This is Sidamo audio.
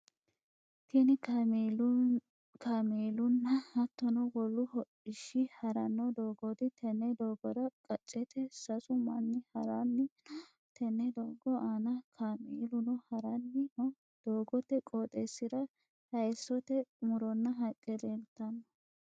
Tinni kaameelunna hattono wolu hodhishi haranno doogooti. Tenne doogora qacete sasu manni haranni no. Tenne doogo aanna kaameeluno haranni no. Doogote qooxeesira hayisote muronna haqe leelteno.